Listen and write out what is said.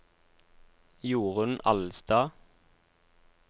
Jorunn Alstad